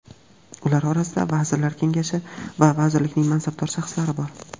Ular orasida Vazirlar Kengashi va vazirlikning mansabdor shaxslari bor.